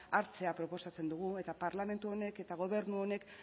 hartzea proposatzen dugu eta parlamentu honek eta gobernu honek